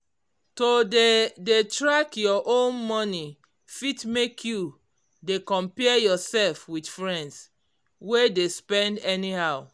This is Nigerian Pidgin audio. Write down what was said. to dey dey track your own money fit make you dey compare yourself with friends wey de spend anyhow